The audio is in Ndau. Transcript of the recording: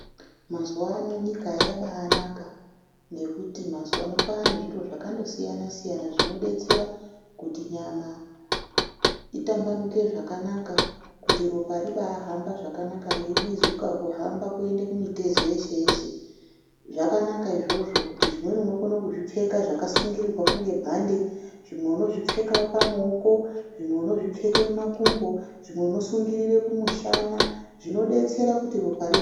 Mazuva ano nyika yabaanaka ngekuti mazuva ano kwaane zviro zvakandosiyana siyana zvinodetsera kuti nyama itambanuke zvakanaka. Kuti ropa ribaahamba zvakanaka reibwizuka kuhamba kuenda kumitezo yeshe yeshe. Zvakanaka izvozvo kuti zvimweni unozvipfeka zvakasungirirwa skunge bhande, zvimwe unozvipfeka mumaoko, zvimwe unozvipfeka kumakumbo, zvimwe unosungirira kumushana zvinodetsera kuti ropa rihambe.